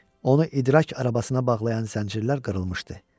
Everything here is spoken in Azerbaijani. Onu idrak arabasına bağlayan zəncirlər qırılmışdı.